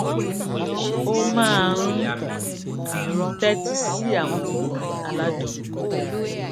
ó máa ń tétí sí àwọn orin aládùn